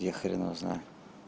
я хрен его знает